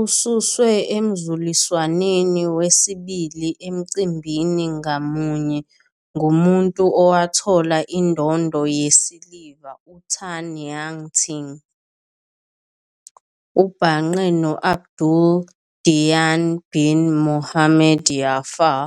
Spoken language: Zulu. Ususwe emzuliswaneni wesibili emcimbini ngamunye ngumuntu owathola indondo yesiliva uTan Ya-Ting. Ubhangqe no- Abdul Dayyan bin Mohamed Jaffar